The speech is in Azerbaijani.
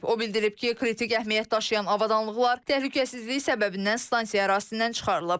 O bildirib ki, kritik əhəmiyyət daşıyan avadanlıqlar təhlükəsizlik səbəbindən stansiya ərazisindən çıxarılıb.